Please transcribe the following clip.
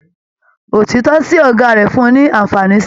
Òtítọ sí ọgá rẹ fún ní anfààní sí.